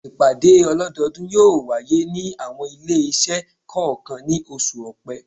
Ìpàdé ọlọ́dọ́ọdún yóò wáyé ní àwọn ilé-iṣẹ́ kọ̀ọ̀kan ní oṣù Ọ̀pẹ.